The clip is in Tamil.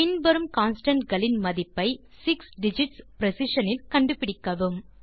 பின் வரும் கான்ஸ்டன்ட் களின் மதிப்பை 6 டிஜிட்ஸ் பிரிசிஷன் இல் கண்டுபிடிக்கவும்